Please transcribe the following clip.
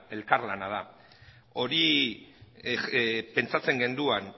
elkarlana da hori pentsatzen genuen